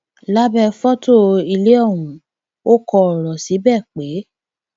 lábẹ fọtò ilé ọhún ò kọ ọrọ síbẹ pé